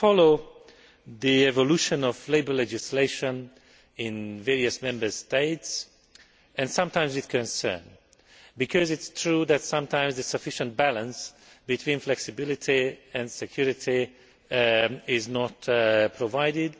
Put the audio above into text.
We follow the evolution of labour legislation in various Member States. Sometimes, there is concern because it is true that sometimes a sufficient balance between flexibility and security is not provided.